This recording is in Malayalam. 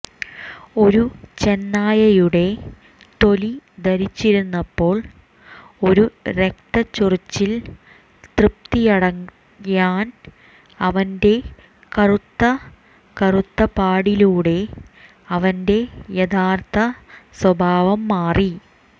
ഒരു ചെന്നായയുടെ തൊലി ധരിച്ചിരുന്നപ്പോൾ ഒരു രക്തച്ചൊരിച്ചിൽ തൃപ്തിയടയാൻ അവന്റെ കറുത്ത കറുത്ത പാടിലൂടെ അവന്റെ യഥാർത്ഥ സ്വഭാവം മാറി